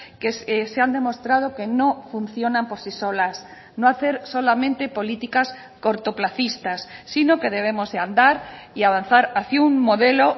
que se han demostrado que no funcionan por sí solas no hacer solamente políticas cortoplacistas sino que debemos de andar y avanzar hacia un modelo